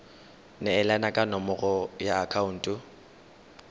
neelana ka nomoro ya akhaonto